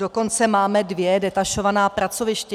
Dokonce máme dvě detašovaná pracoviště.